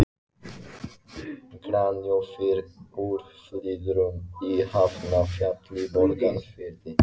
Granófýr úr Flyðrum í Hafnarfjalli í Borgarfirði.